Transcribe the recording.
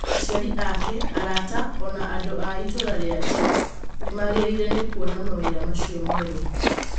Aciari ake, arata, o na andũ a itũũra rĩake, nĩ maagegire nĩ kuona mawĩra macio merũ.